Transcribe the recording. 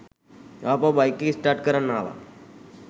ආපහු බයික් එක ස්ටාර්ට් කරන් ආවා